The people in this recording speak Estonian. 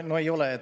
No ei ole.